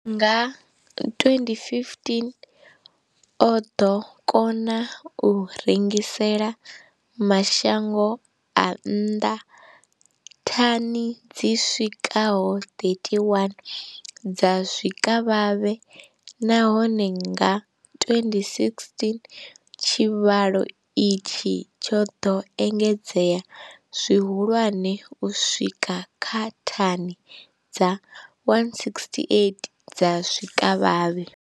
Nga 2015, o ḓo kona u rengisela mashango a nnḓa thani dzi swikaho 31 dza zwikavhavhe, nahone nga 2016 tshivhalo itshi tsho ḓo engedzea zwihulwane u swika kha thani dza 168 dza zwikavhavhe.